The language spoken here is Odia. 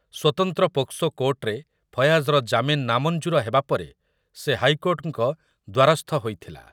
ସ୍ୱତନ୍ତ୍ର ପୋକ୍ସୋ କୋର୍ଟରେ ଫୟାଜର ଜାମିନ ନାମଞ୍ଜୁର ହେବା ପରେ ସେ ହାଇକୋର୍ଟଙ୍କ ଦ୍ୱାରସ୍ଥ ହୋଇଥିଲା ।